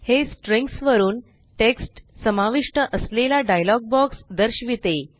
हे स्ट्रिंग्स वरुन टेक्स्ट समाविष्ट असलेला डायलॉग बॉक्स दर्शविते